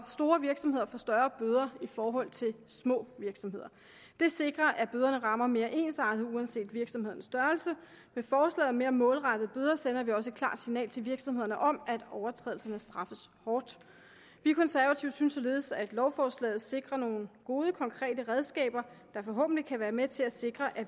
store virksomheder får større bøder i forhold til små virksomheder det sikrer at bøderne rammer mere ensartet uanset virksomhedens størrelse med forslaget om mere målrettede bøder sender vi også et klart signal til virksomhederne om at overtrædelserne straffes hårdt vi konservative synes således at lovforslaget sikrer nogle gode konkrete redskaber der forhåbentlig kan være med til at sikre at